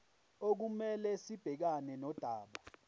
okumele sibhekane nodaba